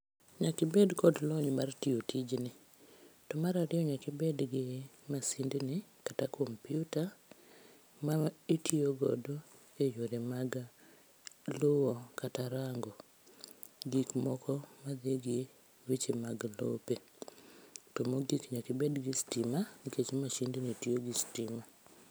Nyaka ibed kod lony mar tiyo tijni to mar ariyo nyaka ibed gi masind ni kata kompyuta ma itiyo godo e yore mag luwo kata rango gik moko madhigi weche mag lope. To mogik nyaka ibed gi stima nikech mashind ni tiyo gi stima